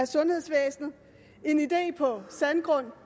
sundhedsvæsenet en idé på sandgrund